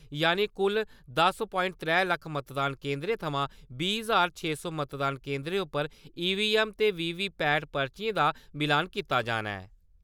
यानि कुल दस प्वांइट त्रै लक्ख मतदान केन्द्रें थमां बीह् ज्हार छे सौ मतदान केंदरें उप्पर ईवीएम ते वीवीपैट पर्चियें दा मिलान कीता जाना ऐ।